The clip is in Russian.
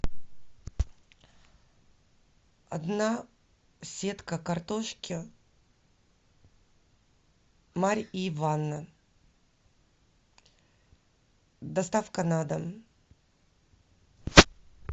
одна сетка картошки марьиванна доставка на дом